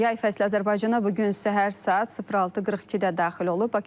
Yay fəslı Azərbaycana bu gün səhər saat 06:42-də daxil olub.